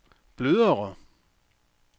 blødere